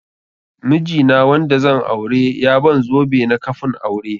Miji na wanda zan aure ya ban zobe na kafun aure.